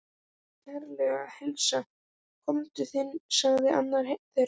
Ég bið kærlega að heilsa konu þinni sagði annar þeirra.